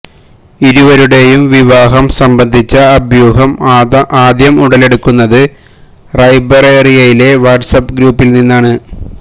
ഇരുവരുടേയും വിവാഹം സംബന്ധിച്ച അഭ്യുഹം ആദ്യം ഉടലെടുക്കുന്നത് റായ്ബറേലിയിലെ വാട്സ്ആപ്പ് ഗ്രൂപ്പിലാണ്